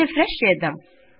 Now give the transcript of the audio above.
refresh చేద్దాం